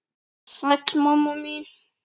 Sæl mamma mín.